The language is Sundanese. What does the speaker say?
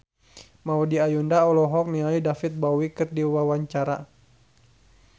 Maudy Ayunda olohok ningali David Bowie keur diwawancara